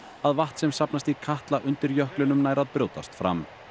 að vatn sem safnast í Katla undir jöklinum nær að brjótast fram